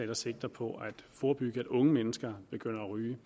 der sigter på at forebygge at unge mennesker begynder at ryge